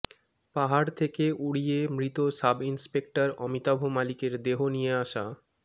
পাহাড় থেকে উড়িয়ে মৃত সাব ইনস্পেক্টর অমিতাভ মালিকের দেহ নিয়ে আসা